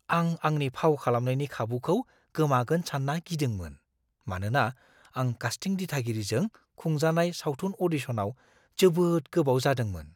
आं आंनि फाव खालामनायनि खाबुखौ गोमागोन सान्ना गिदोंमोन, मानोना आं कास्टिं दिथागिरिजों खुंजानाय सावथुन अ'डिशनाव जोबोद गोबाव जादोंमोन।